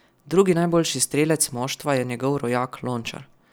Drugi najboljši strelec moštva je njegov rojak Lončar.